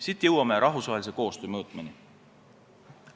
Siit jõuame rahvusvahelise koostöö mõõtmeni.